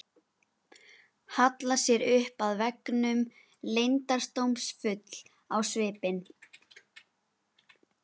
Hallar sér upp að veggnum, leyndardómsfull á svipinn.